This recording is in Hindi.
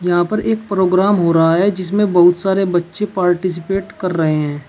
यहाँ पर एक प्रोग्राम हो रहा है जिसमें बहुत सारे बच्चे पार्टिसिपेट कर रहे हैं।